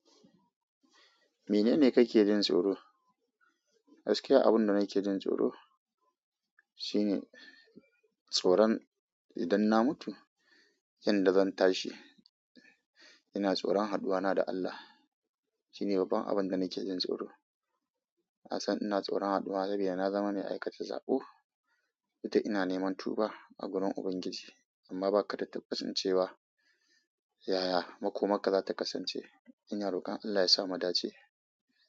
Mene ne kake jin tsoro? Gaskiya abunda nake jin tsoro shine tsoron idan na mutu, inda zan tashi. Ina tsoron haduwana da Allah. Shine babban abin da nake jin tsoro. Na san ina tsoron haduwa saboda na zama mai aikata sabo. Du da ina neman tuba a gurin Ubangiji amma ba ka da tabbas din cewa. Yaya makomakar ka za ta kasance? Ina rokon Allah ya sa mu dace.